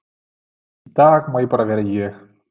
Í dag má ég bara vera ég.